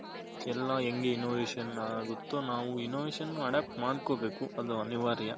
ಎಲ್ಲ ಹೆಂಗ್ In ovation ಆಗುತ್ತೋ ನಾವು In ovation adapt ಮಾಡ್ಕೊಂಬೇಕು ಅದು ಅನಿವಾರ್ಯ